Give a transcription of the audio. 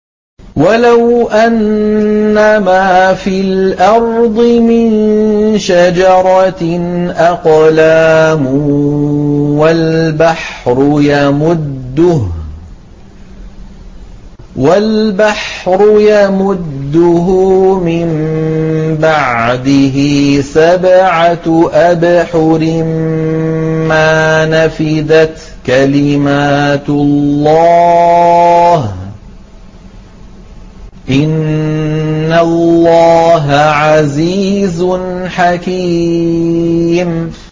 وَلَوْ أَنَّمَا فِي الْأَرْضِ مِن شَجَرَةٍ أَقْلَامٌ وَالْبَحْرُ يَمُدُّهُ مِن بَعْدِهِ سَبْعَةُ أَبْحُرٍ مَّا نَفِدَتْ كَلِمَاتُ اللَّهِ ۗ إِنَّ اللَّهَ عَزِيزٌ حَكِيمٌ